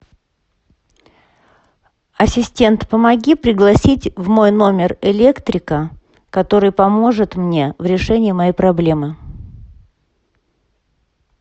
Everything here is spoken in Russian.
ассистент помоги пригласить в мой номер электрика который поможет мне в решении моей проблемы